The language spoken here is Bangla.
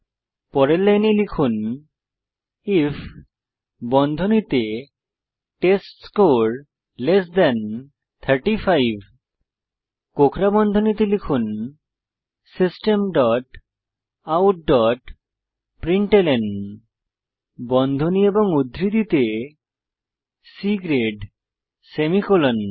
পরের লাইনে লিখুন আইএফ বন্ধনীতে টেস্টস্কোর 35 কোঁকড়া বন্ধনীতে লিখুন system dot out dot println বন্ধনী এবং উদ্ধৃতিতে C গ্রেড সেমিকোলন